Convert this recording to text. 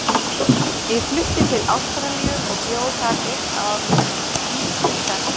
Ég flutti til Ástralíu og bjó þar eitt ár með enskri stelpu.